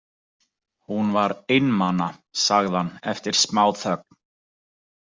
Hún var einmana, sagði hann eftir smáþögn.